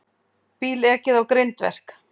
Bíl ekið á grindverk